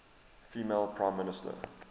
female prime minister